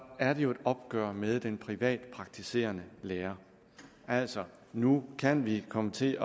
er det jo et opgør med den privatpraktiserende lærer altså nu kan vi komme til